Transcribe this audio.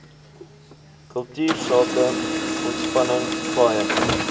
kultuursake ontspanning paaie